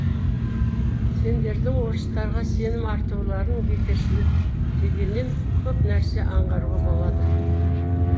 сендердің орыстарға сенім артуларын бекершілік дегенінен көп нәрсе аңғаруға болады